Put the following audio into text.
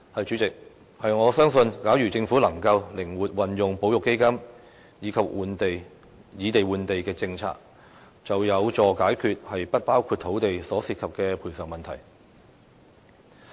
主席，我相信假如政府能夠靈活運用保育基金及以地換地的政策，將有助解決"不包括土地"所涉及的賠償問題。